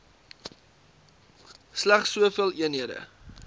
slegs soveel eenhede